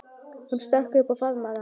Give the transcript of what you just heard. Hún stökk upp og faðmaði hann.